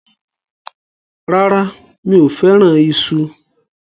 Rárá, mi ò fẹ́ràn iṣu.